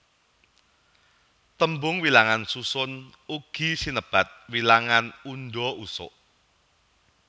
Tembung wilangan susun ugi sinebat wilangan undha usuk